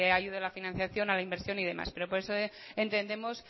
ayude a la financiación a la inversión y demás pero por eso entendemos